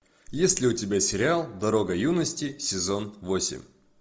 есть ли у тебя сериал дорога юности сезон восемь